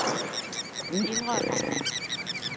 indrømmer